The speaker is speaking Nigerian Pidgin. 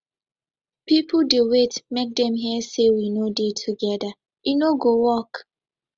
people dey wait make dem hear say we no dey together e no go work